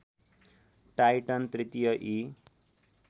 Titan तृतीय ई